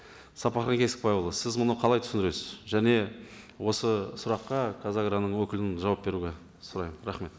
сапархан кесікбайұлы сіз мұны қалай түсіндіресіз және осы сұраққа қазагроның өкілін жауап беруге сұраймын рахмет